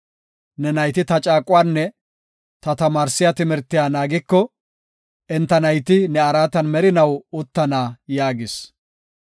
Ne nayti ta caaquwanne ta tamaarsiya timirtiya naagiko, enta nayti ne araatan merinaw uttana” yaagis.